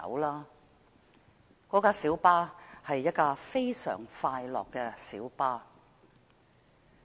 那輛小巴是一輛非常快樂的小巴。